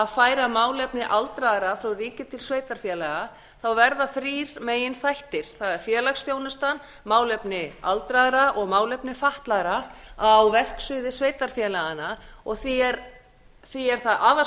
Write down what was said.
færa málefni aldraðra frá ríki til sveitarfélaga verða þrír meginþættir það er félagsþjónusta málefni aldraðra og málefni fatlaðra á verksviði sveitarfélaganna og því er það afar